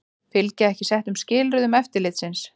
Fylgja ekki settum skilyrðum eftirlitsins